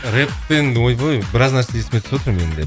рэппен ойбой біраз нәрсе есіме түсіп отыр менің де